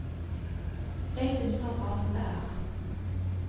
Jeg synes det er bra som det er.